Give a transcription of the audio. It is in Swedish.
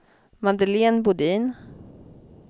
Madeleine Bodin